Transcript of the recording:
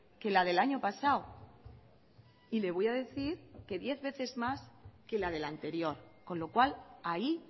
que la del año pasado y le voy a decir que diez veces más que la del anterior con lo cual ahí